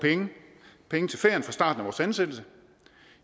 penge til ferien fra starten af vores ansættelse